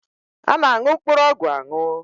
A na-aṅụ mkpụrụ ọgwụ aṅụ